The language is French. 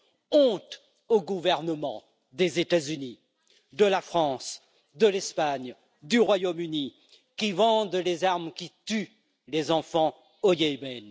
Honte aux gouvernements des États Unis, de la France, de l'Espagne, du Royaume Uni, qui vendent des armes qui tuent des enfants au Yémen!